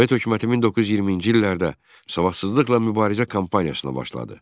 Sovet hökuməti 1920-ci illərdə savadsızlıqla mübarizə kampaniyasına başladı.